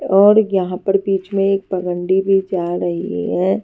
और यहां पर बीच में एक पगंडी भी जा रही है।